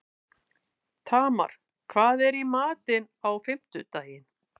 Tamar, hvað er í matinn á fimmtudaginn?